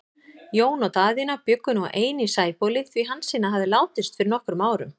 Jón og Daðína bjuggu nú ein í Sæbóli, því Hansína hafði látist fyrir nokkrum árum.